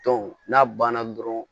n'a banna dɔrɔn